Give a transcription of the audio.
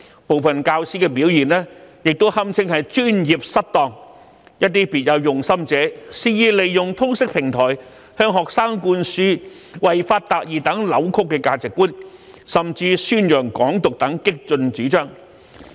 部分教師的表現亦屬"專業失當"，還有些別有用心者肆意利用通識平台，向學生灌輸違法達義等扭曲的價值觀，甚至宣揚"港獨"等激進主張。